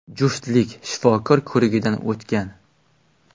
Juftlik shifokor ko‘rigidan o‘tgan.